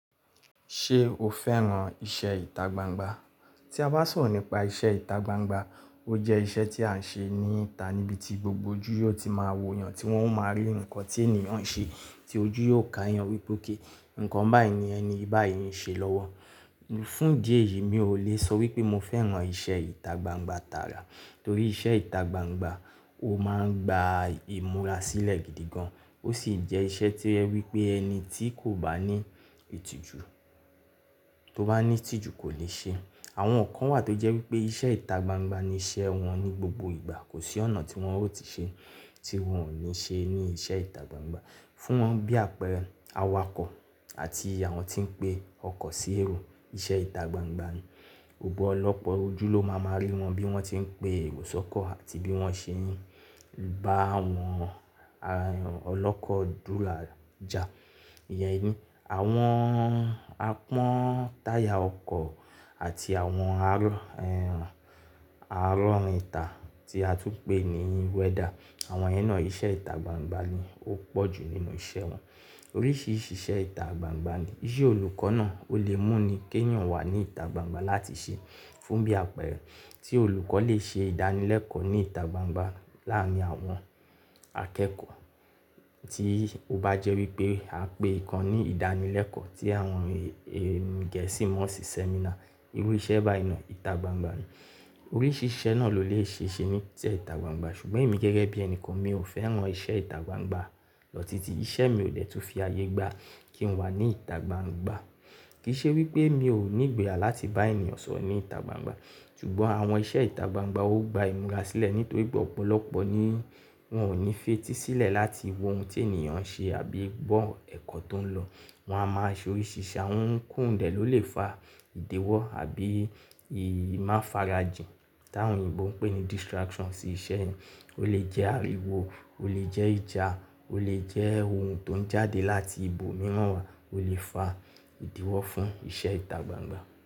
Ṣé o fẹ́ràn iṣẹ́ ìta gbangba? Tí a bá sọ̀rọ̀ nípa iṣẹ́ ìta gbangba, ó jẹ́ iṣẹ́ tí a ń ṣe ní ìta níbi tí gbogbo ojú yóò ti máa wo èèyàn tí wọ́n ó máa rí nǹkan tí ènìyàn ń ṣe, tí ojú yóò ká èèyàn wípé kí nǹkan báyìí ni ẹni báyìí ń ṣe lọ́wọ́. Fún díẹ̀ yìí mi ò lè sọ wípé mo fẹ́ràn iṣẹ́ ìta gbangba tara torí iṣẹ́ ìta gbangba ó máa ń gba ìmúra sílẹ̀ gidi gan. Ó sì jẹ́ iṣẹ́ tí ẹ wípé ẹni tí kò bá ní ìtìjú, tó bá ní ìtìjú kò lè ṣe. Àwọn kan wà tó jẹ́ wípé iṣẹ́ ìta gbangba ni iṣẹ́ wọn ní gbogbo ìgbà. Kò sí ọ̀nà tí wọn ó ti ṣe tí wọn ò ní ṣe ní iṣẹ́ ìta gbangba. Fún bí àpẹẹrẹ awakọ̀ àti àwọn tí ń pe ọkọ̀ sí èrò, iṣẹ́ ìta gbangba ni. Òpọ̀lọpọ̀ ojú ló máa máa rí wọn bí wọ́n ti ń pe erò sọkọ̀ àti bí wọ́n ṣe ń bá àwọn ọlọ́kọ̀ dúró já. Ìyẹn eni. Àwọn apón táyà ọkọ̀ àti àwọn arọ̀, arọ̀ irìn ta tí a tún ń pè ní wẹ́dà, àwọn ẹ náà iṣẹ́ ìta gbangba ni ó pọ̀jù nínú iṣẹ́ wọn. Oríṣìíríṣìí iṣẹ́ ìta gbangba ni. Iṣẹ́ olùkọ́ náà ó lè mú ni kí èèyàn wà ní ìta gbangba láti ṣe. Fún bí àpẹẹrẹ tí olùkọ́ lè ṣe ìdánilẹ́kọ̀ọ́ ní ìta gbangba láàárín àwọn akẹ́kọ̀ọ́ tí ó bá jẹ́ wípé a pè kan ní ìdánilẹ́kọ̀ọ́ tí àwọn gẹ̀ẹ́sì máa ń ṣe sẹ́mínà. Irú iṣẹ́ báyìí náà ìta gbangba ni. Oríṣìíríṣìí iṣẹ́ náà ló lè ṣe ní iṣẹ́ ìta gbangba ṣùgbọ́n èmi gẹ́gẹ́ bí ẹni kan mi ò fẹ́ràn iṣẹ́ ìta gbangba lọ títí. Iṣẹ́ mi ò dẹ́tu fi ayé gbá kí n wà ní ìta gbangba. Kì í ṣe wípé mi ò ní ìgboyà láti bá èèyàn sọ̀rọ̀ ní ìta gbangba, ṣùgbọ́n àwọn iṣẹ́ ìta gbangba ó gba ìmúra sílẹ̀ nítorí pé ọ̀pọ̀lọpọ̀ ni wọn ò ní fetísílẹ̀ láti wo ohun tí èèyàn ń ṣe àbí gbọ́ ẹ̀kọ́ tó ń lọ. Wọn a máa ṣe oríṣìíríṣìí àwọn ohun kan òdẹ ló lè fa ìdíwọ́ àbí ìmáfarajìn tí àwọn Oyinbo ń pè ní distraction sí iṣẹ́ ẹni. Ó lè jẹ́ ariwo, ó lè jẹ́ ìjà, ó lè jẹ́ ohun tó ń jáde láti ibòmíràn wá, ó lè fa ìdíwọ́ fún iṣẹ́ ìta gbangba.